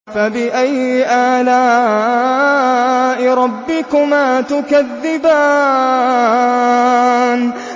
فَبِأَيِّ آلَاءِ رَبِّكُمَا تُكَذِّبَانِ